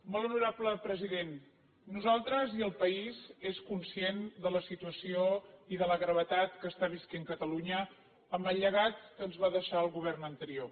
molt honorable president nosaltres i el país som conscients de la situació i de la gravetat que està vivint catalunya amb el llegat que ens va deixar el govern anterior